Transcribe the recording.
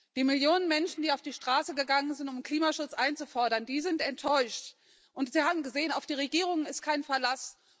Die Millionen Menschen, die auf die Straße gegangen sind, um Klimaschutz einzufordern, die sind enttäuscht, und sie haben gesehen, auf die Regierungen ist kein Verlass.